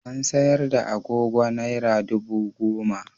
Ana sayar da agogo Naira dubu goma.